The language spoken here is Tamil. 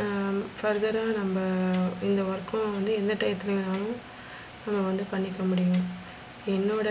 ஆஹ் further ரா நம்ம இந்த work க்கு வந்து எந்த டையத்துல வேணாலும் நம்ம வந்து பண்ணிக்க முடியும். என்னோட